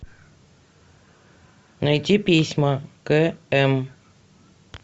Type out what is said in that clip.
найти письма к м